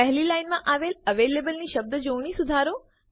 પહેલી લાઈનમાં આવેલ avalableની શબ્દજોડણી સુધારો